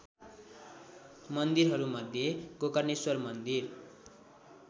मन्दिरहरूमध्ये गोकर्णेश्वर मन्दिर